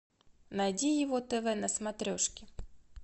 найди его тв на смотрешке